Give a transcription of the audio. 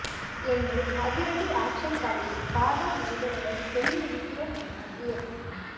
என்று அதிரடி ஆக்ஷன் கதையை காதல் மோதலுடன் சொல்லி இருக்கிறோம் என்றார் இயக்குநர்